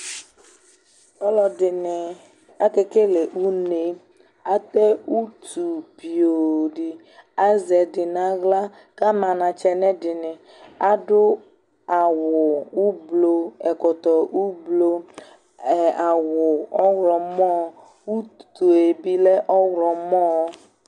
Ɔlɔ dɩnɩ akekele une ; atɛ utu piooo dɩ, azɛ ɛdɩ naɣla ,kama anatsɛ nʋ ɛdɩnɩ Adʋ awʋ :ublu, ɛkɔtɔ ublu, ɛ awʋ ɔɣlɔmɔ , utue bɩ lɛ ɔɣlɔmɔ